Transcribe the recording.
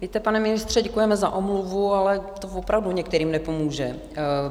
Víte, pane ministře, děkujeme za omluvu, ale to opravdu některým nepomůže.